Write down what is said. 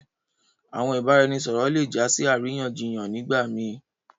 Àwọn ìbàràẹ̀nisọ̀rọ̀ lẹ jà sí aráyànṣíyàn nígbà mí.